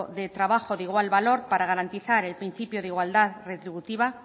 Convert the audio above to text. de trabajo de igual valor para garantizar el principio de igualdad retributiva